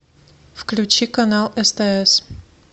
включи канал стс